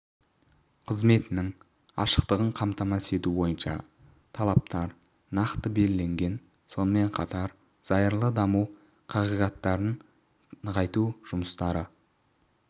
қызметінің ашықтығын қамтамасыз ету бойынша талаптар нақты белгіленген сонымен қатар зайырлы даму қағидаттарын нығайту жұмыстары